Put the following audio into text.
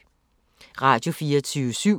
Radio24syv